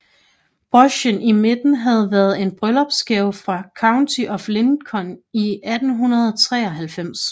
Brochen i midten havde været en bryllupsgave fra County of Lincoln i 1893